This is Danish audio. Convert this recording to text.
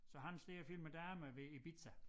Så han står og filmer damer ved Ibiza